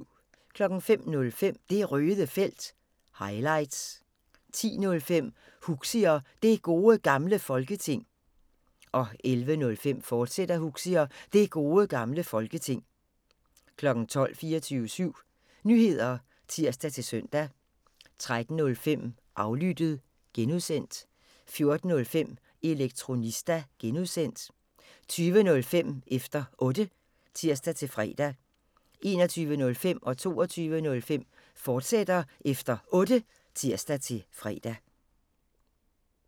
05:05: Det Røde Felt – highlights 10:05: Huxi og Det Gode Gamle Folketing 11:05: Huxi og Det Gode Gamle Folketing, fortsat 12:00: 24syv Nyheder (tir-søn) 13:05: Aflyttet (G) 14:05: Elektronista (G) 20:05: Efter Otte (tir-fre) 21:05: Efter Otte, fortsat (tir-fre) 22:05: Efter Otte, fortsat (tir-fre)